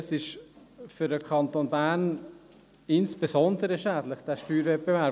Dieser Steuerwettbewerb ist insbesondere für den Kanton Bern schädlich.